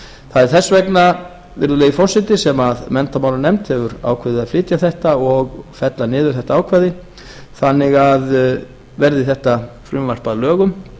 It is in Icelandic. það er þess vegna virðulegi forseti sem menntamálanefnd hefur ákveðið að flytja þetta og fella niður þetta ákvæði þannig að verði þetta frumvarp að lögum